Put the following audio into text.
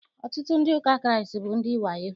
Ọtụtụ ndị ụka Kraịst bụ ndị wayo.